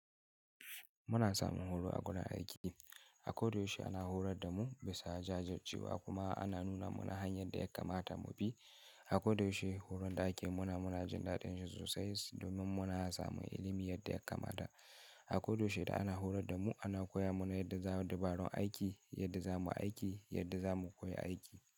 Muna samun horo a gonar aiki. A kodayaushe ana horar da mu bisa jajircewa kuma ana nuna mana hanyar da ya kamata mu bi. A koyaushe horon da ake yi mana muna jin daɗin shi sosai domin muna samun ilimin yadda ya kamata. A kodayaushe da ana horar da mu ana koya mana yadda za mu yi dabarun aiki, yadda za mu yi aiki, yadda za mu koya aiki.